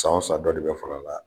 San o san dɔ de bɛ far'a la.